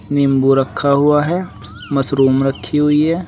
नींबू रखा हुआ है मशरूम रखी हुई है।